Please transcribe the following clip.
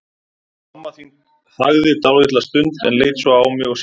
Mamma þín þagði dálitla stund, en leit svo á mig og sagði